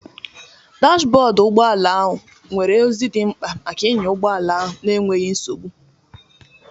Dash bọọdụ ụgbọ ala nwere ozi dị mkpa maka ịnya ụgbọ ala n'enweghị nsogbu